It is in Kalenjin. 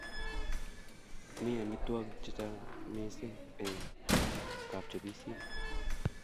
Mi amitwogik che chang mising eng kapchopisiet